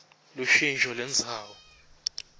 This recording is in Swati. lushintjo lendzawo